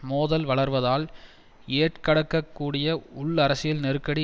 மோதல் வளர்வதால் ஏற்கடக்கூடிய உள்அரசியல் நெருக்கடி